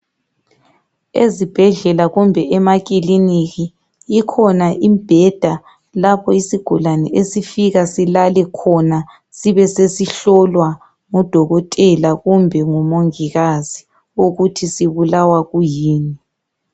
Ezibhedlela kumbe emakliniki ikhona imbheda lapho isigulane esifika silale khona sibe sesihlolwa ngudokotela kumbe ngumongikazi ukuthi sibulawa kuyini